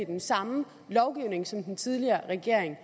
den samme lovgivning som den tidligere regering